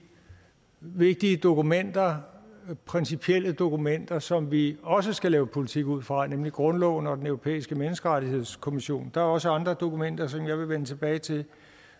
vigtige dokumenter principielle dokumenter som vi også skal lave politik ud fra nemlig grundloven og den europæiske menneskerettighedskonvention der er også andre dokumenter som jeg vil vende tilbage til